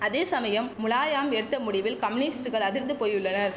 அதே சமயம் முலாயாம் எடுத்த முடிவில் கம்யூனிஸ்டுகள் அதிர்ந்து போயுள்ளனர்